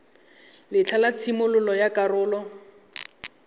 letlha la tshimololo ya karolo